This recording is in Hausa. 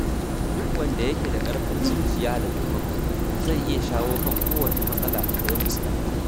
Duk wanda yake da ƙarfin zuciya da taimako, zai iya shawo kan kowace matsala da ya fuskanta.